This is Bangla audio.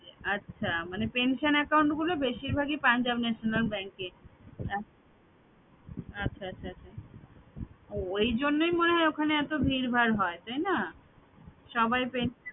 আচ্ছা মানে pension account গুলো বেশিরভাগই punjab national bank এ আচ্ছা আচ্ছা আচ্ছা ও ওইজন্যই মনে হয় ওখানে এত ভীরভার হয় তাই না? সবাই পে~